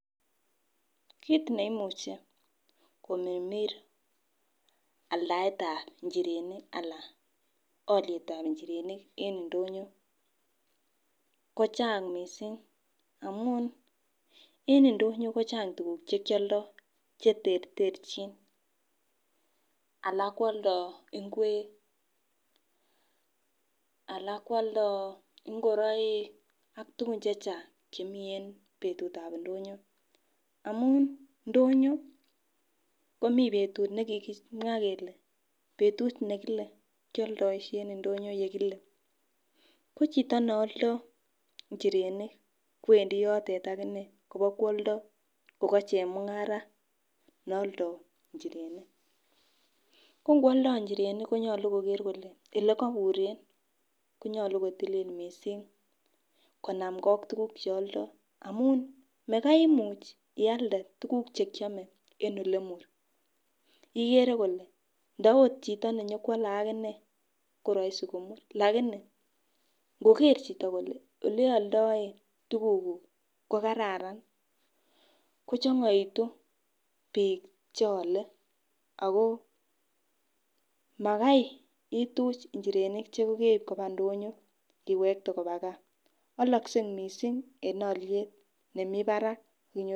Kit neimuchi komirmir aldaetab inchirenik alan olietab inchirenik en indonyo kochang missing amun en indonyo kochang tukuk chekioldo cheterterchin alak kwoldo ingwek alak kwoldo ingoroik ak tukun chechang chemii en betutab indonyo. Amun indonyo komii betut nekikimwa kele betut nekile kioldoishe en ilindonyo nekile, ko chito neoldo inchirenik kowendii yotet akinee Kobo kwoldoo ako chemungara neoldo inchirenik. Ko ngwoldoo inchirenik konyolu olekobure konyolu kotilil missing konamgee ak tukuk cheoldo amun Makai imuchi ialde tukuk chekiome en olemur ikere kole ndo ot chito nenyokwole akinee koroisi komur lakini nkoker chito kole oleoldoen tukuk kuk ko kararan kochongoitu bik cheole ako Makai ituch inchirenik chekokeib koba ndonyo iwekte koba gaa, oloksei missing en oliet nemii barak akonyor.